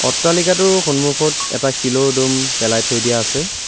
অট্টালিকাটোৰ সন্মুখত এটা শিলৰ দ'ম পেলাই থৈ দিয়া আছে।